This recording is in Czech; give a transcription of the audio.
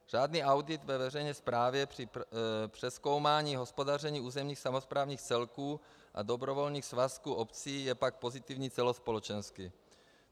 Řádný audit ve veřejné správě při přezkoumání hospodaření územních samosprávných celků a dobrovolných svazků obcí je pak pozitivní celospolečensky.